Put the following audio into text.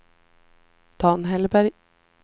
Dan Hellberg